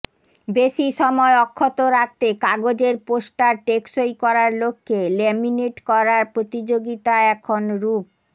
বেশি সময় অক্ষত রাখতে কাগজের পোস্টার টেকসই করার লক্ষ্যে লেমিনেট করার প্রতিযোগিতা এখন রূপ